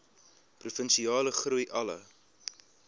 provinsiale groei alle